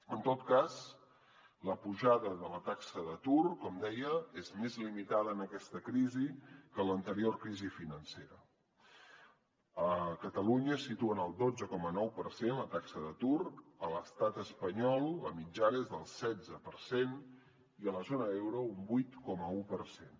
en tot cas la pujada de la taxa d’atur com deia és més limitada en aquesta crisi que en l’anterior crisi financera a catalunya es situa en el dotze coma nou per cent la taxa d’atur a l’estat espanyol la mitjana és del setze per cent i a la zona euro un vuit coma un per cent